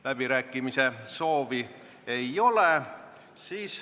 Läbirääkimiste soovi ei ole.